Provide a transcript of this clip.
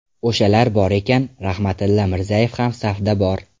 O‘shalar bor ekan, Rahmatilla Mirzayev ham safda bor”.